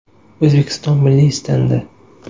O‘zbekiston milliy stendi.